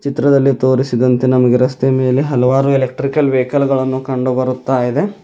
ಚಿತ್ರದಲ್ಲಿ ತೋರಿಸಿದಂತೆ ನಮಗೆ ರಸ್ತೆಯ ಮೇಲೆ ಹಲವಾರು ಎಲೆಕ್ಟ್ರಿಕಲ್ ವೆಹಿಕಲ್ ಗಳನ್ನು ಕಂಡು ಬರುತ್ತಾ ಇದೆ.